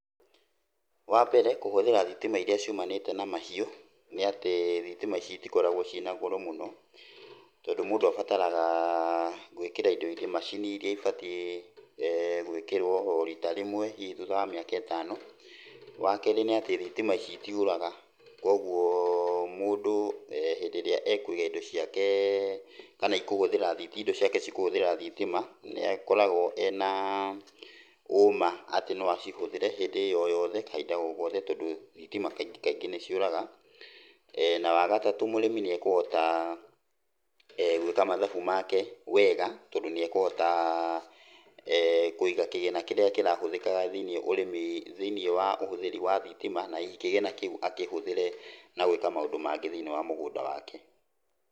Wambere, kũhũthĩra thitima iria ciumanite na mahiũ, nĩ atĩ thitima ici citikoragwo ciĩna goro mũno, tondũ mũndũ abataraga gwĩkĩra indo, macini iria ibatiĩ gwĩkĩrwo o rita rĩmwe hihi thutha wa miaka itano. Wakerĩ nĩ atĩ thitima ici itiũraga, kwogwo mũndũ, hĩndĩ ĩrĩa ekũiga indo ciake kana ĩkũhũthĩra thi, indo ciake cikũhũthĩra thitima nĩ akoragwo ena ũma atĩ no acihũthĩre hĩndĩ o yothe kahinda o gothe tondũ thitima kaingĩ kaingĩ nĩciũraga. Na wagatatũ mũrĩmi nĩekũhota gwĩka mathabu make wega tondũ nĩ ekũhota kũiga kĩgĩna kĩrĩa kĩrahũthĩkaga thĩiniĩ, ũrĩmi, thĩiniĩ wa ũhũthĩrĩ wa thitima na hihi kĩgĩna kĩu akĩhũthĩre na gwĩka maũndũ mangĩ thĩiniĩ wa mũgũnda wake.